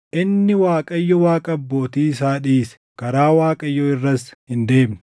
Inni Waaqayyo Waaqa abbootii isaa dhiise; karaa Waaqayyoo irras hin deemne.